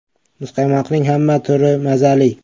“Muzqaymoqning hamma turi mazali.